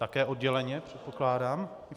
Také odděleně předpokládám.